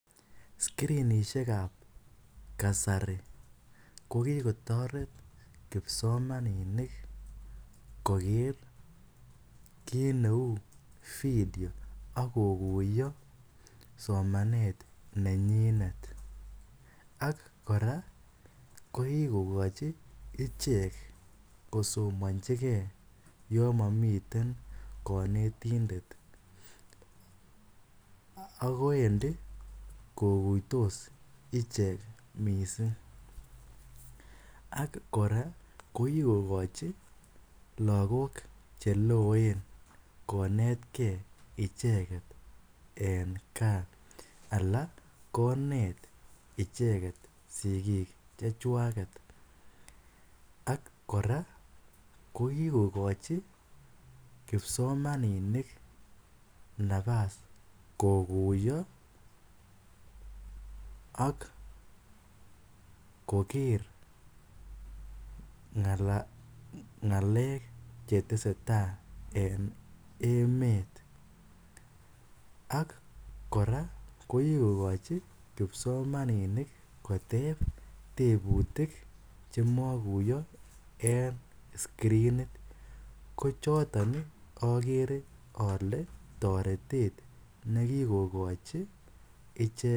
Screenisheek ab kasari ko kikotaret kipsomaninik koger kit neu video ako kuyaa somanet nenyinet ak kora ko kigochinicheek kisomanjii icheek yaan mamiten kanetindet ako Wendi kokuitos ichegeet missing ak kora ko kigokochi lagook che loen konetkei ichegeet en kaah anan kobeet ichegeet sikiik che chwaget ak kora ko kikogochi kipsomaninik nafas koguyaa ak koger ngaleek che tesetai en emeet ak kora ko kigokochi kipsomaninik koteeb tebutiik che maguyaa en screnit ko chotoon agere ale taretet ne kikogochi ichegeet.